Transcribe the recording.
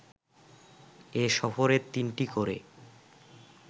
এ সফরে তিনটি করে